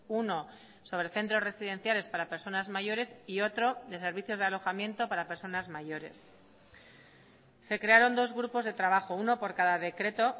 uno sobre centros residenciales para personas mayores y otro de servicios de alojamiento para personas mayores se crearon dos grupos de trabajo uno por cada decreto